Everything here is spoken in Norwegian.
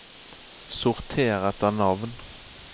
sorter etter navn